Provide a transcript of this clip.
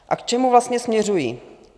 A k čemu vlastně směřuji?